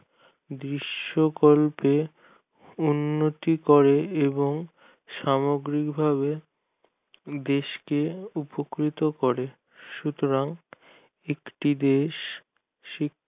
দৃশ্য কল্পের উন্নতি করে এবং সামগ্রিক ভাবে দেশ কে উপকৃত করে সতরাং একটি দেশ